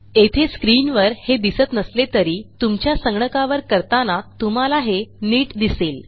येथे स्क्रीनवर हे दिसत नसले तरी तुमच्या संगणकावर करताना तुम्हाला हे नीट दिसेल